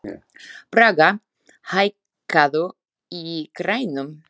Braga, hækkaðu í græjunum.